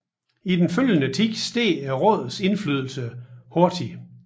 I den følgende tid steg rådets indflydelse hurtig